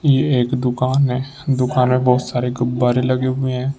ये एक दुकान है दुकान में बहुत सारे गुब्बारे लगे हुए हैं।